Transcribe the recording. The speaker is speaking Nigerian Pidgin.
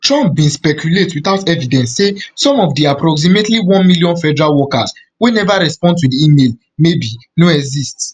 trump bin speculate without evidence say some of di approximately one million federal workers wey neva respond to di email maybe no exist